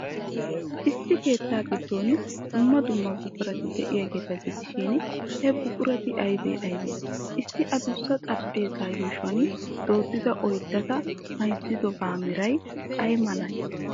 Issi keettaa giddon dumma dumma buqurati de'iyaageeta gidishin, he buqurati aybee aybee? Issi adussa xaraphpheezzaa yuushuwan dooddida oydeta mayzzidobaa meray ay malee?